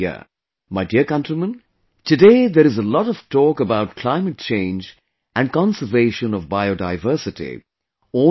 My dear countrymen, today there is a lot of talk about climate change and conservation of Biodiversity all over the world